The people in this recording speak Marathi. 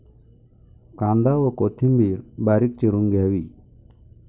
कांदा व कोथिंबिर बारीक चिरून घ्यावी.